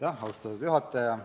Austatud juhataja!